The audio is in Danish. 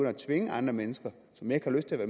at tvinge andre mennesker som ikke har lyst til at